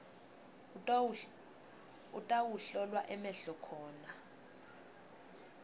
utawuhlolwa emehlo khona